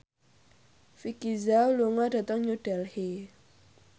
Vicki Zao lunga dhateng New Delhi